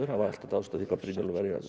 var alltaf dáðst að því hvað Brynjólfur